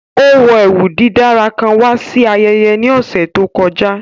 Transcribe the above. Ó wọ ẹwú dídára kán wà sí àyẹ̀yẹ̀ ní ọṣẹ̀ tó kọ̀jà